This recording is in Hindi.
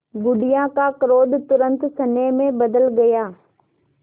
बुढ़िया का क्रोध तुरंत स्नेह में बदल गया